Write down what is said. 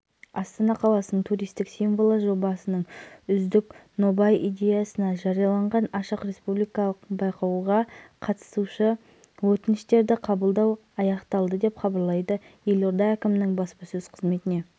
оппозиция делегациясының өкілі асаад ханн әлеуметтік желіде астана процесінің алдын ала қорытынды мәтінін жариялады онда